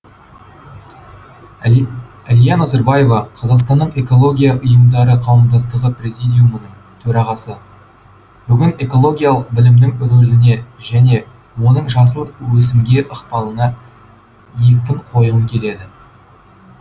әлия назарбаева қазақстанның экологиялық ұйымдары қауымдастығы президиумының төрағасы бүгін экологиялық білімнің рөліне және оның жасыл өсімге ықпалына екпін қойғым келеді